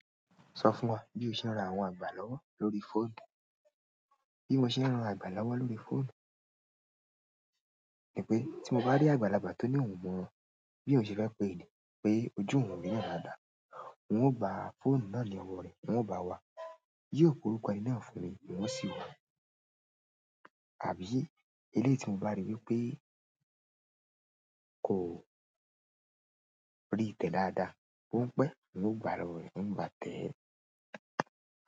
Sọ fún wa bí o ṣe ń ran àwọn àgbà lọ́wọ́ lórí fóònù. Bí mo ṣe ń rán àgbà lọ́wọ́ lórí fóònù ni pé tí mo bá rí àgbàlagbà tó ní òun mọ bí òun ṣe fẹ́ pé ènìyàn pé ojú òun rínà dáadáa, n ó gba fóònù náà ní ọwọ́ rẹ̀, n ó bá wa, yóò pe orúkọ ẹni náà fún mi n ó sì wá, àbí eléyìí tí mo bá rí wípé kò rí tẹ dáadáa, ó n pẹ́ n ó gbà á lọ́wọ́ rẹ̀ n ó bá tẹ̀ẹ́.